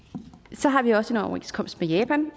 så har vi også en overenskomst med japan